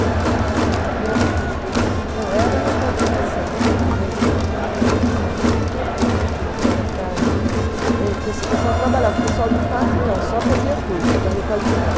Requalificação. Não. E. Não, era requalificação, mas ele tinha um outro nome, que era para, que esse pessoal trabalhava, o pessoal do Fate não, só fazia curso para requalificar.